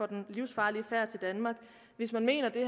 den livsfarlige færd til danmark hvis vi mener det